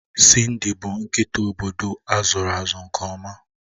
Cindy bụ nkịta obodo azụlụ azụ nke ọma.